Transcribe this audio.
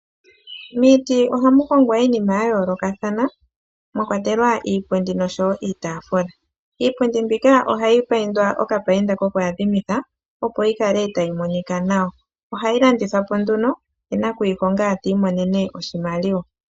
Miiti ohamu hongwa iinima ya yoolokathana mwa kwatelwa iipundi nosho wo iitaafula. Iipundi mbika ohayi paindwa okapainda kokuyadhimitha, opo yi kale tayi monika nawa. Ohayi landithwa po nduno ye nakuyihonga ti imonene oshimaliwa.